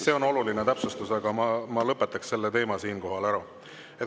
See on oluline täpsustus, aga ma lõpetan selle teema siinkohal ära.